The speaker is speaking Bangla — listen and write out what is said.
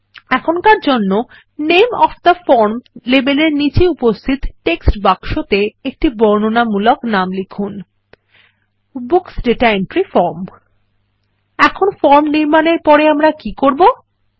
এখনকার জন্য নামে ওএফ থে ফর্ম লেবেলের নীচে উপস্থিত টেক্সট বাক্সতে একটি বর্ণনামূলক নাম লিখুন বুকস দাতা এন্ট্রি ফর্ম এখন ফর্ম নির্মাণের পরে আমরা কি করব160